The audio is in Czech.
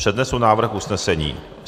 Přednesu návrh usnesení.